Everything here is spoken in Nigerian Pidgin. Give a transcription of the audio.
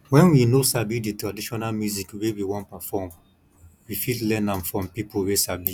when we noo sabi di traditional music wey we wan perform we fit learn am from pipo wey sabi